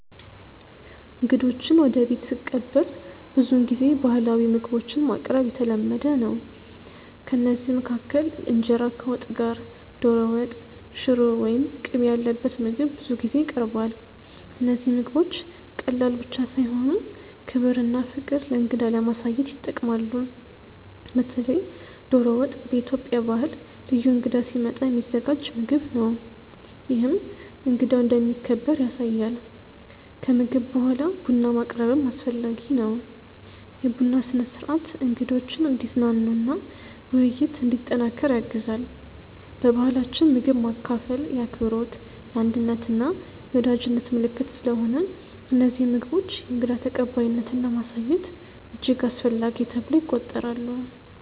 እንግዶችን ወደ ቤት ስቀበል ብዙውን ጊዜ ባህላዊ ምግቦችን ማቅረብ የተለመደ ነው። ከእነዚህ መካከል እንጀራ ከወጥ ጋር፣ ዶሮ ወጥ፣ ሽሮ ወይም ቅቤ ያለበት ምግብ ብዙ ጊዜ ይቀርባል። እነዚህ ምግቦች ቀላል ብቻ ሳይሆኑ ክብርና ፍቅር ለእንግዳ ለማሳየት ይጠቅማሉ። በተለይ ዶሮ ወጥ በኢትዮጵያ ባህል ልዩ እንግዳ ሲመጣ የሚዘጋጅ ምግብ ነው፤ ይህም እንግዳው እንደሚከበር ያሳያል። ከምግብ በኋላ ቡና ማቅረብም አስፈላጊ ነው። የቡና ስነ-ሥርዓት እንግዶችን እንዲዝናኑ እና ውይይት እንዲጠናከር ያግዛል። በባህላችን ምግብ ማካፈል የአክብሮት፣ የአንድነት እና የወዳጅነት ምልክት ስለሆነ እነዚህ ምግቦች የእንግዳ ተቀባይነትን ለማሳየት እጅግ አስፈላጊ ተብለው ይቆጠራሉ